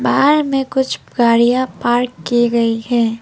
बाहर में कुछ गाड़ियां पार्क की गई है।